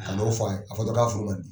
Ka n'o fɔ ye, a fɔ dɔrɔn k'a furu banni.